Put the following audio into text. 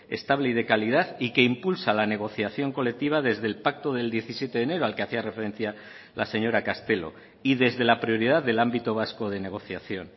estable y de calidad y que impulsa la negociación colectiva desde el pacto del diecisiete de enero al que hacía referencia la señora castelo y desde la prioridad del ámbito vasco de negociación